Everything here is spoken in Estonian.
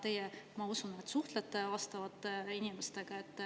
Teie, ma usun, suhtlete vastavate inimestega.